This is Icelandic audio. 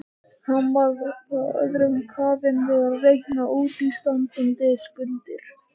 Hann var of önnum kafinn við að reikna útistandandi skuldir.